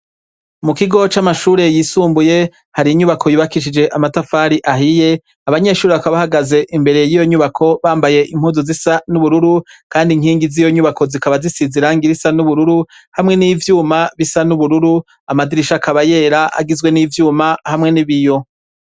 Mu kigo c'amashure yisumbuye hari inyubako yibakishije amatafari ahiye abanyeshuri akabahagaze imbere y'iyo nyubako bambaye impuzu zisa n'ubururu, kandi nkingi z'iyo nyubako zikaba zisizirangira isa n'ubururu hamwe n'ivyuma bisa n'ubururu amadirisha akabayera agizwe n'ivyuma hamwe n'ibiyo.